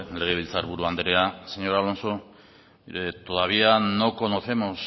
legebiltzar buru andrea señor alonso mire todavía no conocemos